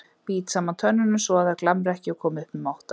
Bít saman tönnunum svoað þær glamri ekki og komi upp um óttann.